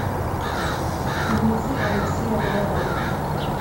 фильмецы алексея балабанова